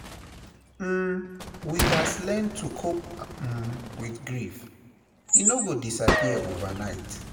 um We gats learn to cope um with grief; e no go disappear overnight.